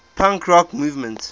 punk rock movement